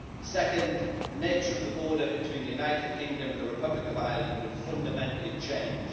Second, the nature of the border between the United Kingdom and the Republic of Ireland would fundamentally change.